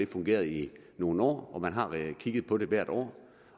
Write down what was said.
fungeret i nogle år man har kigget på det hvert år